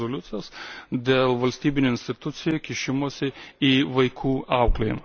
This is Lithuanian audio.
d. rezoliucijos, dėl valstybinių institucijų kišimosi į vaikų auklėjimą.